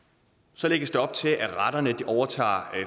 så lægges der op til at retterne overtager